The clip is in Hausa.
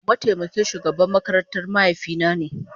Mataimakin shugaban makarantar mahaifina ne.